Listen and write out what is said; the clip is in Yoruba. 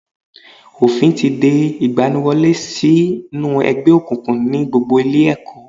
Òfín ti de ìgbaniwọlé sí nú ẹgbẹ́ òkùnkùn ní gbogbo ilé ẹ̀kọ́